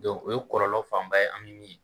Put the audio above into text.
o ye kɔlɔlɔ fanba ye an bɛ min ye